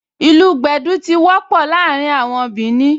Ìlù gbẹ̀dú tí wọ́pọ̀ láàrin àwọn Bìnì